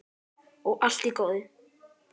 Og allt í góðu.